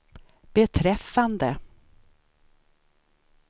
beträffande